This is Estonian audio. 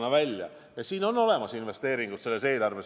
Ja eelarves on olemas ka investeeringud.